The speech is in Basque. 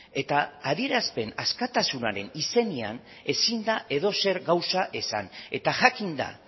eta adierazpen askatasunaren izenean ezin da edozer gauza esan eta jakinda